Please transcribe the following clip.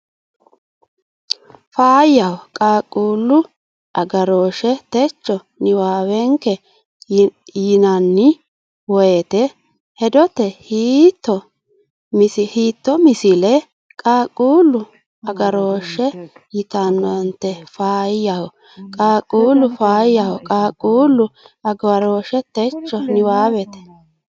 Faayyaho Qaaqquullu agarooshshe techo niwaawenke yinanni woyte hedote hiittoo misile qaaqquullu agaarooshshe yitannote Faayyaho Qaaqquullu Faayyaho Qaaqquullu agarooshshe techo niwaawenke.